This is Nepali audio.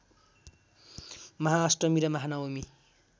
महाअष्टमी र महानवमी